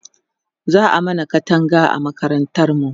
za'a mana Katanga a makarantar mu